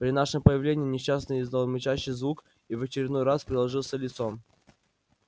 при нашем появлении несчастный издал мычащий звук и в очередной раз приложился лицом